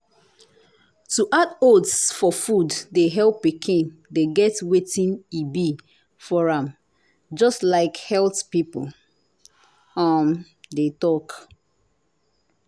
to add oats for food de help pikin de get wetin e be for am just like health people um de talk